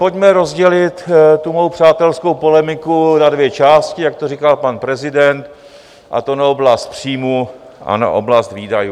Pojďme rozdělit tu mou přátelskou polemiku na dvě části, jak to říkal pan prezident, a to na oblast příjmů a na oblast výdajů.